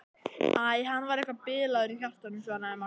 Æ, hann var eitthvað bilaður í hjartanu svaraði Magga.